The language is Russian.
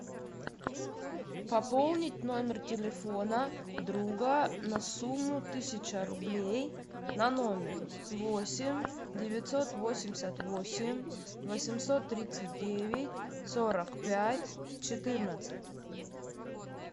пополнить номер телефона друга на сумму тысяча рублей на номер восемь девятьсот восемьдесят восемь восемьсот тридцать девять сорок пять четырнадцать